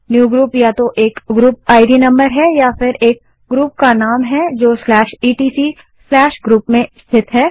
newgroup या तो एक ग्रुप इद नम्बर है या फिर etcgroup में स्थित एक ग्रुप का नाम है